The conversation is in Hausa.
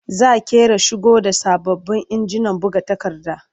Za ƙera shigo da sababbin injinan buga takarda.